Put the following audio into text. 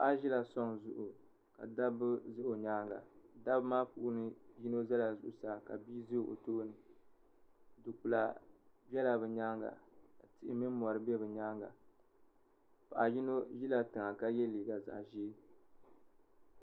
Paɣa ʒila soŋ zuɣu ka dabba za o nyaanga dabba maa puuni yino zala zuɣusaa ka yino za o tooni du'kpila zala bɛ nyaaga ka tihi mini mori be bɛ nyaanga paɣa yino ʒila tiŋa ka ye liiga zaɣa ʒee.